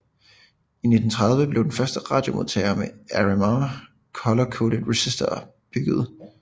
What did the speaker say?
I 1930 blev den første radiomodtager med RMA color coded resistorer bygget